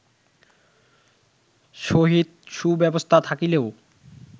সহিত সুব্যবস্থা থাকিলেও